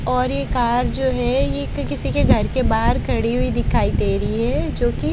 और ये कार जो है ये किसी के घर के बाहर खड़ी हुई दिखाई दे रही है जो की--